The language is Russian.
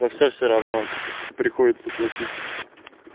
за всё всё равно приходится платить